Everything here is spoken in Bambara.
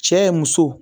Cɛ muso